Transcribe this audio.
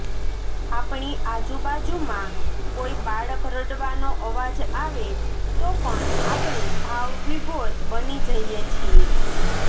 આપણી આજુબાજુમાં કોઈ બાળક રડવાનો અવાજ આવે તો પણ આપણે ભાવ વિભોર બની જઈએ છીએ